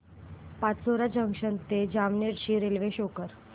Pachora junction ते जामनेर ची railway show कर